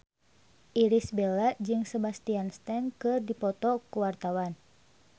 Irish Bella jeung Sebastian Stan keur dipoto ku wartawan